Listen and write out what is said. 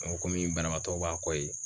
N komi banabagatɔw b'a kɔ yen